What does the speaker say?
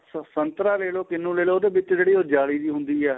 ਸੰਤਰਾ ਲੈਲੋ ਕਿੰਨੂੰ ਲੈਲੋ ਉਹਦੇ ਵਿੱਚ ਜਿਹੜੀ ਜਾਲੀ ਜੀ ਹੁੰਦੀ ਏ